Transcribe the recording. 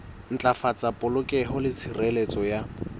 ntlafatsa polokeho le tshireletso ya